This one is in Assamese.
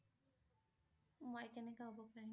মই কেনেকৈ হব পাৰিম?